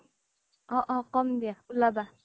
অহ' অ' কমদিয়া উলাবা